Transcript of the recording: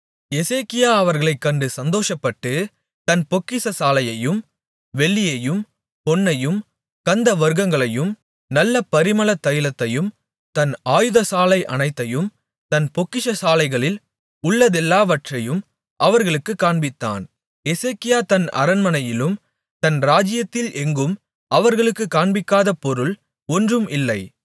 எசேக்கியா அவர்களைக் கண்டு சந்தோஷப்பட்டு தன் பொக்கிஷசாலையையும் வெள்ளியையும் பொன்னையும் கந்தவர்க்கங்களையும் நல்ல பரிமள தைலத்தையும் தன் ஆயுதசாலை அனைத்தையும் தன் பொக்கிஷசாலைகளில் உள்ளதெல்லாவற்றையும் அவர்களுக்குக் காண்பித்தான் எசேக்கியா தன் அரண்மனையிலும் தன் ராஜ்யத்தில் எங்கும் அவர்களுக்குக் காண்பிக்காத பொருள் ஒன்றும் இல்லை